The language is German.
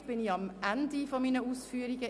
Damit bin ich am Ende meiner Ausführungen.